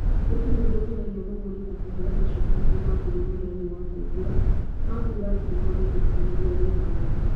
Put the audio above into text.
Gũtirĩ ũndũ wa ũkenagia mũgũri ta kũheo macokio kuuma kũrĩ mũheani wa ũteithio, ma kuuga atĩ nĩ monete kĩhonia gĩa thĩna wake.